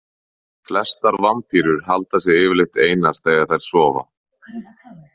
Flestar vampírur halda sig yfirleitt einar þegar þær sofa.